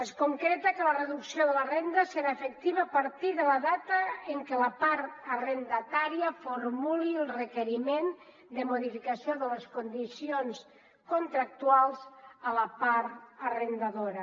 es concreta que la reducció de la renda serà efectiva a partir de la data en què la part arrendatària formuli el requeriment de modificació de les condicions contractuals a la part arrendadora